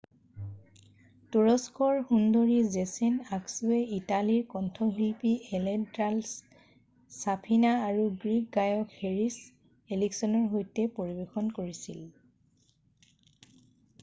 তুৰস্কৰ সুন্দৰী ছেজেন আক্সুৱে ইটালীৰ কন্ঠশিল্পী এলেছান্ড্ৰ' ছাফিনা আৰু গ্ৰীক গায়ক হেৰিছ এলেক্সিঅ'ৰ সৈতে পৰিৱেশন কৰিছিল